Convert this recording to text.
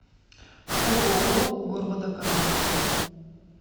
ооо горводоканал